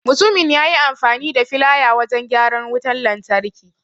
Mutumin yayi amfani da filaya wajan gyaran wutan lantarki.